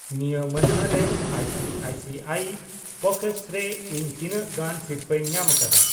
ᱱᱤᱭᱟᱹ ᱢᱟᱹᱱᱦᱟᱹ ᱨᱮ ᱟᱭᱥᱤᱟᱭᱥᱤᱟᱭ ᱯᱚᱠᱮᱴᱥ ᱨᱮ ᱤᱧ ᱛᱤᱱᱟᱹᱜ ᱜᱟᱱ ᱥᱤᱨᱯᱟᱹᱧ ᱧᱟᱢᱟᱠᱟᱫᱟ ?